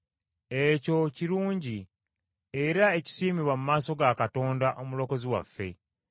Ekyo kirungi era ekisiimibwa mu maaso ga Katonda Omulokozi waffe,